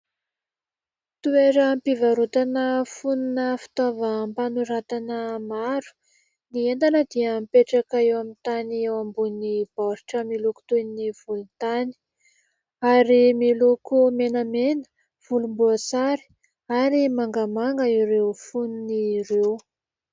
Toeram-pivarotana fonona fitaovam-panoratana maro ; ny entana dia mipetraka eo amin'ny tany eo ambonin'ny baoritra miloko toy ny volontany ; ary miloko menamena, volomboasary ary mangamanga ireo fonony ireo.